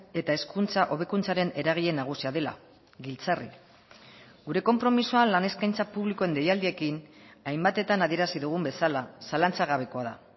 eta hezkuntza hobekuntzaren eragile nagusia dela giltzarri gure konpromisoa lan eskaintza publikoen deialdiekin hainbatetan adierazi dugun bezala zalantzagabekoa da